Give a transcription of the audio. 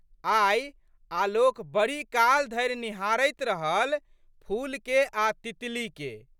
आइ आलोक बड़ीकाल धरि निहारैत रहल फूलके आ तितलीके।